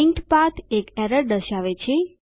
linked path એક error દર્શાવે છે